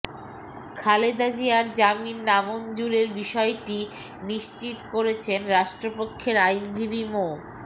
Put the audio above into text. খালেদা জিয়ার জামিন নামঞ্জুরের বিষয়টি নিশ্চিত করেছেন রাষ্ট্রপক্ষের আইনজীবী মো